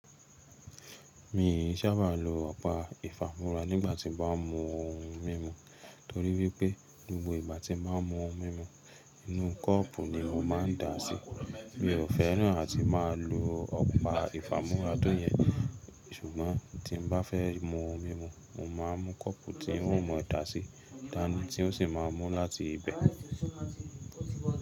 Mi ò sábà lo ọ̀pá ìfàmúra nígbà tí mo bá ń mu ohun mímu, torí wípé gbogbo igbà tí mo bá mu ohun mímu, inú kọ́ọ́pù ni mo máa ń dà á sí. Mi ò fẹ́ràn àti máa lo ọ̀pá ìfàmúra tó yẹn, ṣùgbọ́n tí bá fẹ́ mu ohun mímu, mo máa ń mú kọ́ọ́pù tí ń ò mọ daà sí dàni tí ó sì máa ń mú láti ibẹ̀.